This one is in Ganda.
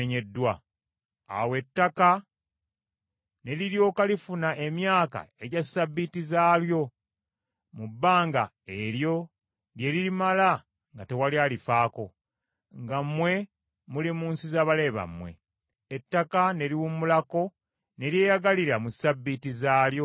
Awo ettaka ne liryoka lifuna emyaka egya ssabbiiti zaalyo mu bbanga eryo lye lirimala nga tewali alifaako, nga mmwe muli mu nsi z’abalabe bammwe; ettaka ne liwummulako ne lyeyagalira mu ssabbiiti zaalyo ezo.